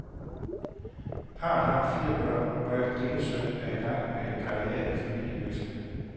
Parret har fire børn, hvoraf den ene søn er i gang med en karriere i familievirksomheden.